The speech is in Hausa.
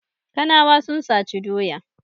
Kanawa sun saci doya.